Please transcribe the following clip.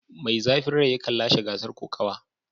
Mai zafin rai yakan lashe gasar kokawa.